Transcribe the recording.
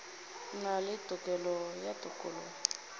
na le tokelo ya tokologo